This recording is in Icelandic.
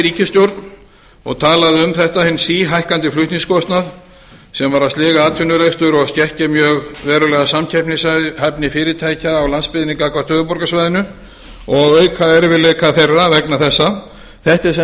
ríkisstjórn og talað um þetta hinn síhækkandi flutningskostnað sem væri að sliga atvinnurekstur og skekkja mjög verulega samkeppnishæfni fyrirtækja á landsbyggðinni gagnvart höfuðborgarsvæðinu og auka erfiðleika þeirra vegna þessa þetta er sem